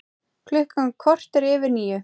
Klukkan korter yfir níu